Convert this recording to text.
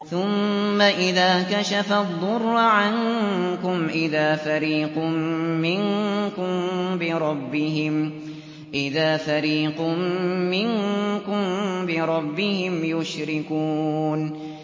ثُمَّ إِذَا كَشَفَ الضُّرَّ عَنكُمْ إِذَا فَرِيقٌ مِّنكُم بِرَبِّهِمْ يُشْرِكُونَ